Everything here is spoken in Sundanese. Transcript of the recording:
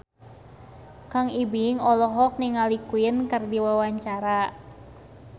Kang Ibing olohok ningali Queen keur diwawancara